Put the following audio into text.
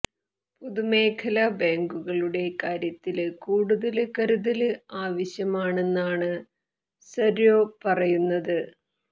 പൊതുമേഖലാ ബാങ്കുകളുടെ കാര്യത്തില് കൂടുതല് കരുതല് ആവശ്യമാണെന്നാണ് സര്വേ പറയുന്നത്